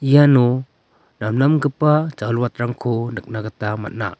iano namnamgipa jawilwatrangko nikna gita man·a.